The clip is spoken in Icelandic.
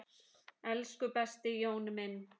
Elsku besti Jón minn.